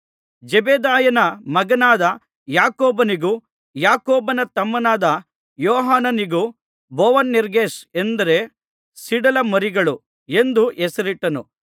ಜೆಬೆದಾಯನ ಮಗನಾದ ಯಾಕೋಬನಿಗೂ ಯಾಕೋಬನ ತಮ್ಮನಾದ ಯೋಹಾನನಿಗೂ ಬೊವನೆರ್ಗೆಸ್ ಅಂದರೆ ಸಿಡಿಲ ಮರಿಗಳು ಎಂದು ಹೆಸರಿಟ್ಟನು